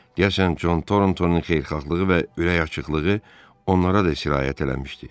Deyəsən, Con Thorntonun xeyirxahlığı və ürəkaçıklığı onlara da sirayət eləmişdi.